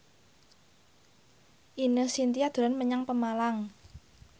Ine Shintya dolan menyang Pemalang